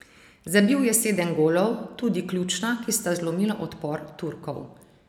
Zabil je sedem golov, tudi ključna, ki sta zlomila odpor Turkov.